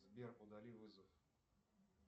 сбер удали вызов